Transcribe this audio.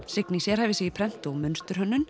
Signý sérhæfir sig í prent og